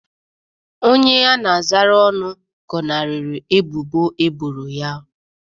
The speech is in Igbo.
Onye a na-azara ọnụ gọnarịrị ebubo eboro ha.